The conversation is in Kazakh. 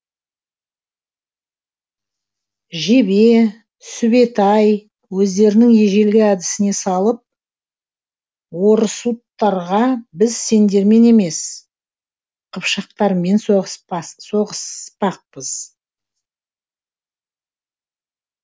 жебе сүбетәй өздерінің ежелгі әдісіне салып орұсуттарға біз сендермен емес қыпшақтармен соғыспақпыз